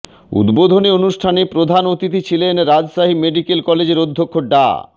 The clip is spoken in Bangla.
উদ্বোধনী অনুষ্ঠানে প্রধান অতিথি ছিলেন রাজশাহী মেডিক্যাল কলেজের অধ্যক্ষ ডা